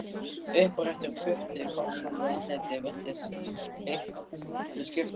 Uppréttur putti framan við andlitið virtist litlu skipta.